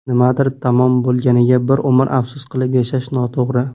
Nimadir tamom bo‘lganiga bir umr afsus qilib yashash noto‘g‘ri.